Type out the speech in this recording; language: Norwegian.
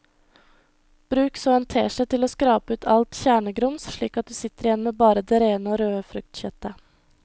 Bruk så en teskje til å skrape ut alt kjernegrums slik at du sitter igjen med bare det rene og røde fruktkjøttet.